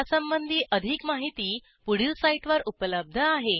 यासंबंधी अधिक माहिती पुढील साईटवर उपलब्ध आहे